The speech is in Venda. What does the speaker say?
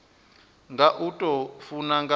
nga u tou funa nga